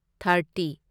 thirty